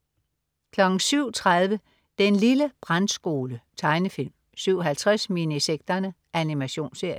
07.30 Den lille brandskole. Tegnefilm 07.50 Minisekterne. Animationsserie